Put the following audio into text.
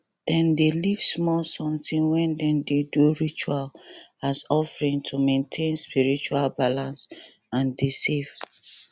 dem dey leave small sometin when dem dey do ritual as offering to maintain spiritual balance and dey safe